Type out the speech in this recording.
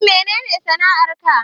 Shin menene sana'ar ka